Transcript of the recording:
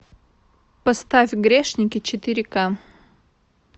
поставь грешники четыре к